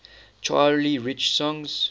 charlie rich songs